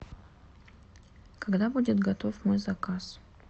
когда будет готов мой заказ